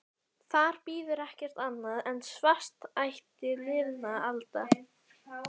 Þar bíður ekki annað en svartnætti liðinna alda.